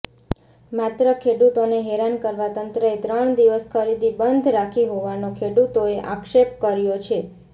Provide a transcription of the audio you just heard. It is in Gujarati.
માત્ર ખેડૂતોને હેરાન કરવા તંત્રએ ત્રણ દિવસ ખરીદી બંધ રાખી હોવાનો ખેડૂતોએ આક્ષેપ કર્યો છે